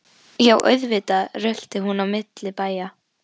Já, auðvitað rölti hún á milli bæja.